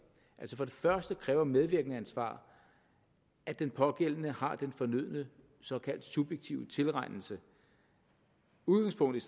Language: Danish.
for det første kræver medvirkensansvar at den pågældende har den fornødne såkaldt subjektive tilregnelse udgangspunktet